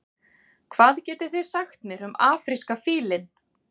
hvað getið þið sagt mér um afríska fílinn